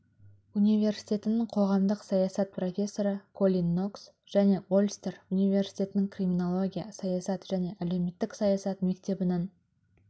университетінің қоғамдық саясат профессоры колин нокс және ольстер университетінің криминология саясат және әлеуметтік саясат мектебінің